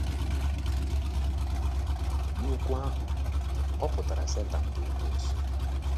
N'okwu ahụ, ọ pụtara Setan bụ́ Ekwensu.